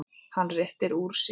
Hann réttir úr sér.